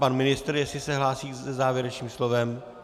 Pan ministr, jestli se hlásí se závěrečným slovem?